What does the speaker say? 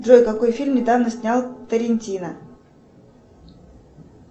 джой какой фильм недавно снял тарантино